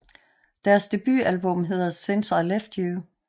Deres debutalbum hedder Since I Left You